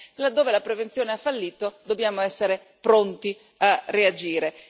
Laddove la prevenzione ha fallito dobbiamo essere pronti a reagire.